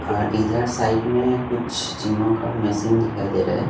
और इधर साइड में कुछ जीमो का मशीन दिखाई दे रहा है।